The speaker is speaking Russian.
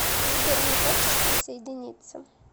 сбер не хочешь присоединиться